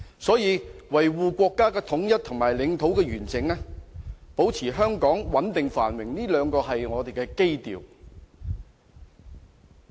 所以，維護國家的統一和領土完整，以及保持香港的繁榮和穩定，這兩點是我們的基調。